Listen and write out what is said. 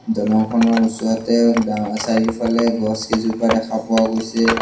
দলংখনৰ ওচৰতে ডাঙ চাৰিওফালে গছ কিজোপা দেখা পোৱাও গৈছে।